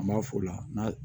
An b'a f'o la